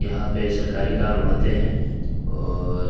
यहाँ पे सरकारी काम होते हैं और --